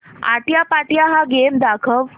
आट्यापाट्या हा गेम दाखव